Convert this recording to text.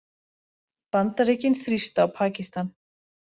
Bandaríkin þrýsta á Pakistan